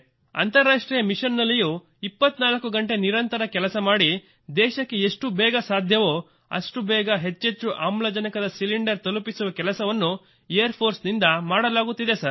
ಅಂತಾರಾಷ್ಟ್ರೀಯ ಮಿಶನ್ ನಲ್ಲಿಯೂ 24 ಗಂಟೆ ನಿರಂತರ ಕೆಲಸ ಮಾಡಿ ದೇಶಕ್ಕೆ ಎಷ್ಟು ಬೇಗ ಸಾಧ್ಯವೋ ಅಷ್ಟು ಬೇಗ ಹೆಚ್ಚೆಚ್ಚು ಆಮ್ಲಜನಕದ ಸಿಲಿಂಡರ್ ತಲುಪಿಸುವ ಕೆಲಸವನ್ನು ಏರ್ ಫೋರ್ಸ್ನಿಂ ದ ಮಾಡಲಾಗುತ್ತಿದೆ ಸರ್